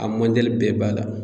A mandɛli bɛɛ b'a la.